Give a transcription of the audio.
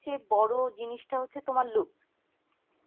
চেয়ে বড়ো জিনিসটা হচ্ছে তোমার look